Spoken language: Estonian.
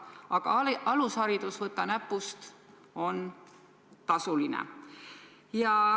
Aga alusharidus, võta näpust, on tasuline.